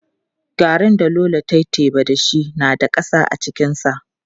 Garrin da Lolo ta yi teba da shi na da ƙasa cikinsa.